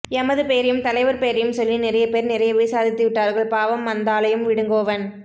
எமது பெயரையும் தலைவர் பெயரையும் சொல்லி நிறையப்பேர் நிறையவே சாதித்துவிட்டார்கள் பாவம் அந்தாளையும் விடுங்கோவன்